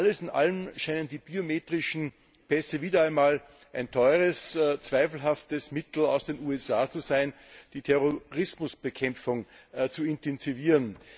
Alles in allem scheinen die biometrischen Pässe wieder einmal ein teures, zweifelhaftes Mittel aus den USA zu sein, die Terrorismusbekämpfung zu intensivieren.